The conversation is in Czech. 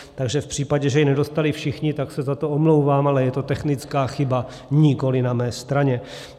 Takže v případě, že ji nedostali všichni, tak se za to omlouvám, ale je to technická chyba nikoliv na mé straně.